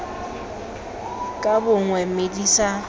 ka bongwe mme di sa